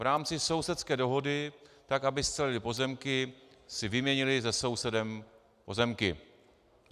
V rámci sousedské dohody, tak aby scelili pozemky, si vyměnili se sousedem pozemky.